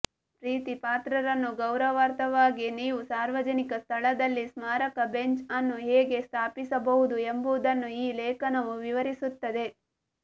ಪ್ರೀತಿಪಾತ್ರರನ್ನು ಗೌರವಾರ್ಥವಾಗಿ ನೀವು ಸಾರ್ವಜನಿಕ ಸ್ಥಳದಲ್ಲಿ ಸ್ಮಾರಕ ಬೆಂಚ್ ಅನ್ನು ಹೇಗೆ ಸ್ಥಾಪಿಸಬಹುದು ಎಂಬುದನ್ನು ಈ ಲೇಖನವು ವಿವರಿಸುತ್ತದೆ